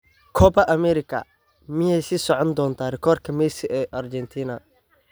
Copa America: Miyay sii socon doontaa rikoorka Messi ee Argentina?